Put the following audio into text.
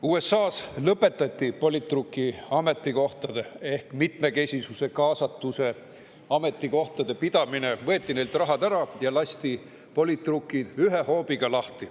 USA-s lõpetati politruki ametikohtade ehk mitmekesisuse kaasatuse ametikohtade pidamine, võeti neilt raha ära ja lasti politrukid ühe hoobiga lahti.